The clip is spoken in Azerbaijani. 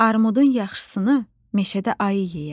Armudun yaxşısını meşədə ayı yeyər.